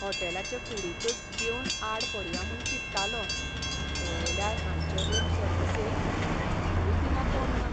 होटॅलाचे कुडींतच जेवन आड पडया म्हूण चिंत्तालों, पळयल्यार हांचे रूम सर्विसेक जापूच दिना कोण्ण.